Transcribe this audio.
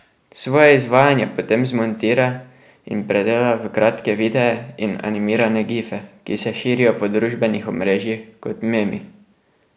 Svoje izvajanje potem zmontira in predela v kratke videe in animirane gife, ki se širijo po družbenih omrežjih kot memi.